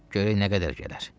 Görək nə qədər gələr."